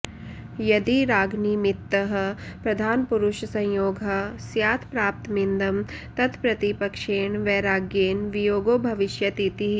यदि रागनिमित्तः प्रधानपुरुषसंयोगः स्यात् प्राप्तमिदं तत्प्रतिपक्षेण वैराग्येण वियोगो भविष्यतीति